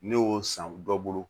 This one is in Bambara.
Ne y'o san dɔ bolo